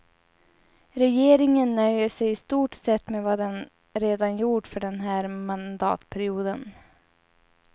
Regeringen nöjer sig i stort sett med vad den redan gjort för den här mandatperioden.